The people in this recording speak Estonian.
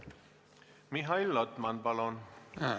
Mihhail Lotman, palun!